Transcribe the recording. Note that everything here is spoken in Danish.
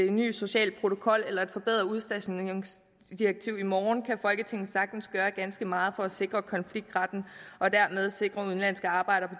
en ny social protokol eller et forbedret udstationeringsdirektiv i morgen kan folketinget sagtens gøre ganske meget for at sikre konfliktretten og dermed sikre udenlandske arbejdere